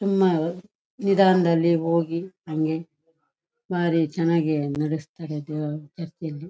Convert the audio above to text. ನಿದಾನದಳ್ಳಿಅಲ್ಲಿ ಹೋಗಿ ಹಂಗೆ ಬಾರಿ ಚನ್ನಾಗಿ ನಡಸತಾರೆ ದೇವರ ಚರ್ಚ್ ಅಲ್ಲಿ.--